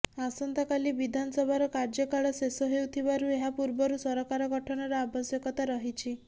ଆସନ୍ତାକାଲି ବିଧାନସଭାର କାର୍ଯ୍ୟକାଳ ଶେଷ ହେଉଥିବାରୁ ଏହା ପୂର୍ବରୁ ସରକାର ଗଠନର ଆବଶ୍ୟକତା ରହିଛି